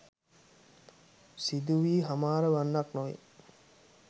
සිදුවී හමාර වන්නක් නොවේ.